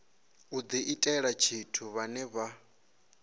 u diitela tshithu vhane vha